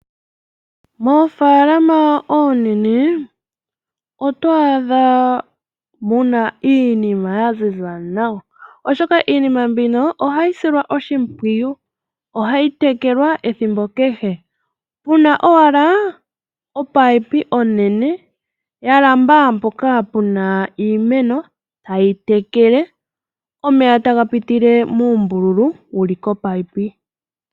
Mofaalama oonene otwaadha muna iinima yaziza nawa oshoka iinima mbino ohayi silwa oshimpwiyu, ohayi tekelwa ethimbo kehe. Muna owala omunino omunene gwalamba mpoka puna iimeno tayi tekele. Omeya taga pitile owala muumbululu wuli omunino.